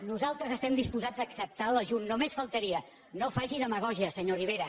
nosaltres estem disposats a acceptar l’ajut només faltaria no faci demagògia senyor rivera